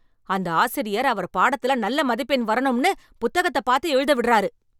அந்த ஆசிரியர் அவர் பாடத்துல நல்ல மதிப்பெண் வரணும்னு புத்தகத்த பாத்து எழுத விடுறாரு.